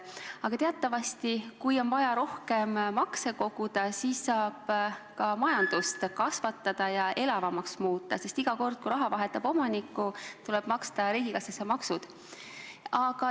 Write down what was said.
Aga teatavasti, kui on vaja rohkem makse koguda, siis saab ka majandust kasvatada ja elavamaks muuta, sest iga kord, kui raha vahetab omanikku, tuleb maksta riigikassasse maksud.